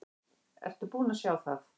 Ertu búinn að sjá það?